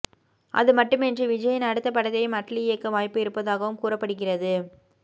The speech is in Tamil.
அதுமட்டுமின்றி விஜய்யின் அடுத்த படத்தையும் அட்லி இயக்க வாய்ப்பு இருப்பதாகவும் கூறப்படுகிறது